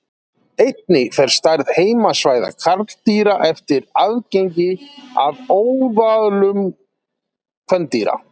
einnig fer stærð heimasvæða karldýra eftir aðgengi að óðölum kvendýra